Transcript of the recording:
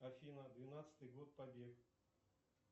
афина двенадцатый год побег